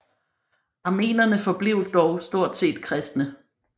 Armenerne forblev dog stort set kristne